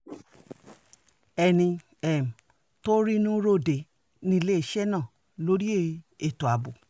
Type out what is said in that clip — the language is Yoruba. ẹni um tó rínú ròde níléeṣẹ́ náà lórí ètò ààbò